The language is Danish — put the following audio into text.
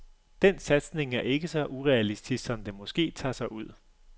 Den satsning er ikke så urealistisk, som den måske tager sig ud.